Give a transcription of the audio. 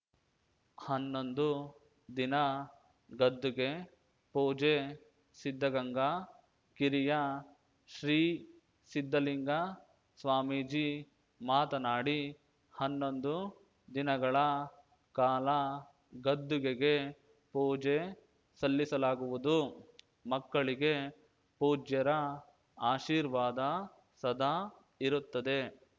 ಹನ್ನೊಂದು ದಿನ ಗದ್ದುಗೆ ಪೂಜೆ ಸಿದ್ಧಗಂಗಾ ಕಿರಿಯ ಶ್ರೀ ಸಿದ್ಧಲಿಂಗ ಸ್ವಾಮೀಜಿ ಮಾತನಾಡಿ ಹನ್ನೊಂದು ದಿನಗಳ ಕಾಲ ಗದ್ದುಗೆಗೆ ಪೂಜೆ ಸಲ್ಲಿಸಲಾಗುವುದು ಮಕ್ಕಳಿಗೆ ಪೂಜ್ಯರ ಆಶೀರ್ವಾದ ಸದಾ ಇರುತ್ತದೆ